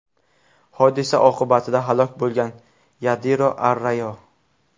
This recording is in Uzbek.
Hodisa oqibatida halok bo‘lgan Yadiro Arrayo.